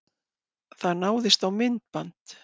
Það náðist á myndband.